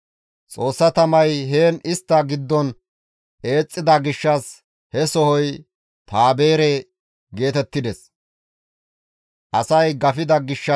Xoossa tamay heen istta giddon eexxida gishshas he sohoy, «Tabeere» geetettides.